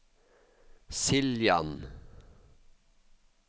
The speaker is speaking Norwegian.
Siljan